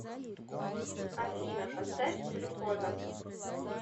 афина поставь глюкоза